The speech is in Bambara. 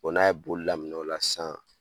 O n'a ye bo laminɛ o la san